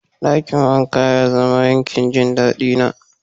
Dakin wanka ya zama yankin jin dadi na.